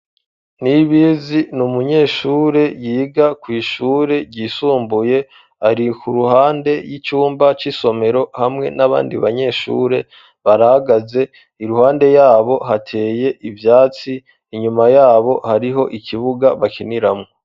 Nibizi ni umunyeshure yiga kw,ishure ryisumbuye ari ku ruhande y'icumba c'isomero hamwe n'abandi banyeshure barahagaze iruhande yabo hateye ivyatsi inyuma yabo hariho ikibuga bakiniramwo